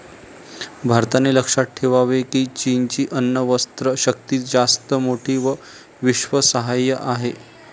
भारताने लक्षात ठेवावे कीं चीनची अण्वस्त्रशक्ती जास्त मोठी व विश्वासार्ह आहे.